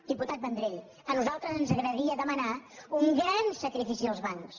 diputat vendrell a nosaltres ens agradaria demanar un gran sacrifici als bancs